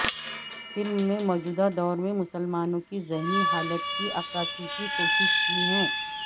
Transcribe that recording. film میں موجودہ دور میں مسلمانوں کی ذہنی حالت کی عکاسی کی کوشش کی ہے